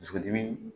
Dusukolo dimi